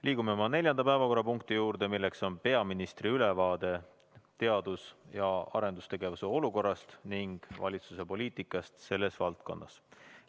Liigume neljanda päevakorrapunkti juurde: peaministri ülevaade teadus‑ ja arendustegevuse olukorrast ning valitsuse poliitikast selles valdkonnas.